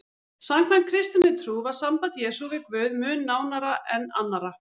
Samkvæmt kristinni trú var samband Jesú við Guð mun nánara en annarra.